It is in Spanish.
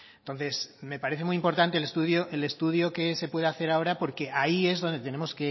entonces me parece muy importante el estudio que se puede hacer ahora porque ahí es donde tenemos